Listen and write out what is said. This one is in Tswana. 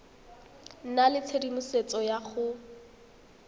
nna le tshedimosetso ya go